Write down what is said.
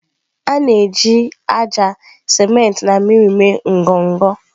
A na-eji ájá, siment na mmiri mee ngọngọ.